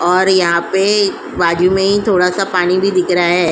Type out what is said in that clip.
और यहाँ पे बाजू में ही थोड़ा पानी भी दिख रा है।